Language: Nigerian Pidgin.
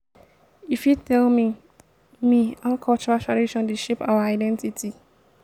you fit tell me me how cultural traditon dey shape our identity?